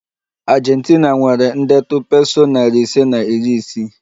Argentina nwere ndetu peso nari ise na iri isii